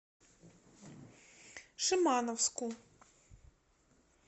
шимановску